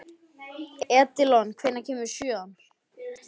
Edilon, hvenær kemur sjöan?